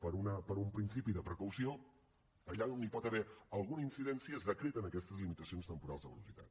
per un principi de precaució allà on hi pot haver alguna incidència es decreten aquestes limitacions temporals de velocitat